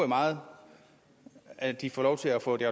meget at de får lov til at få det